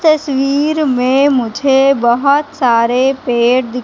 तस्वीर में मुझे बहोत सारे पेड़ दिख--